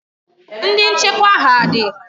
Ndị nchekwa ha dị?